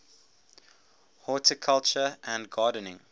horticulture and gardening